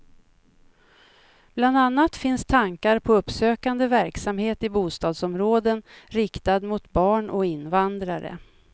Bland annat finns tankar på uppsökande verksamhet i bostadsområden riktad mot barn och invandrare.